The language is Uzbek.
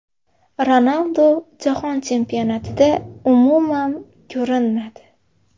Ronaldu Jahon chempionatida umuman ‘ko‘rinmadi’.